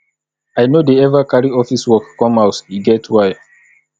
i no dey eva carry office work come house e get why